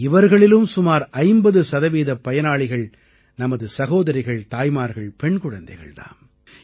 இவர்களிலும் சுமார் 50 சதவீதப் பயனாளிகள் நமது சகோதரிகள் தாய்மார்கள் பெண் குழதைகள் தாம்